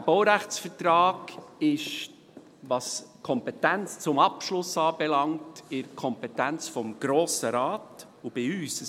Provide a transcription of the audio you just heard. Dieser Baurechtsvertrag ist, was die Kompetenz zum Abschluss anbelangt, in der Kompetenz des Grossen Rates und bei uns.